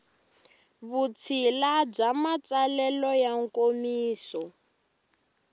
vutshila bya matsalelo ya nkomiso